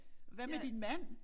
Hvad med din mand?